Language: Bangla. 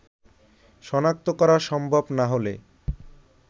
শনাক্ত করা সম্ভব না হলে